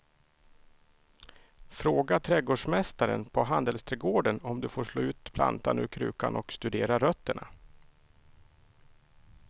Fråga trädgårdsmästaren på handelsträdgården om du får slå ut plantan ur krukan och studera rötterna.